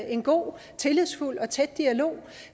en god tillidsfuld og tæt dialog